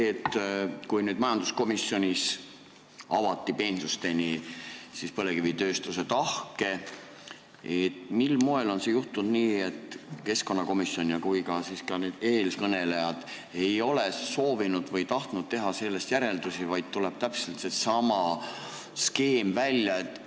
Kui majanduskomisjonis avati peensusteni põlevkivitööstuse tahke, siis mil moel on juhtunud nii, et ei keskkonnakomisjon ega ka eelkõnelejad ei ole soovinud või tahtnud teha sellest järeldusi, vaid välja tuleb täpselt seesama skeem?